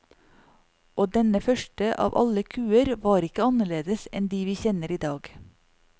Og denne første av alle kuer var ikke annerledes enn de vi kjenner idag.